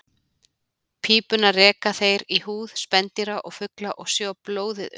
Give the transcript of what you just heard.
Pípuna reka þeir í húð spendýra og fugla og sjúga blóðið upp.